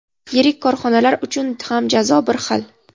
yirik korxonalar uchun ham jazo bir xil.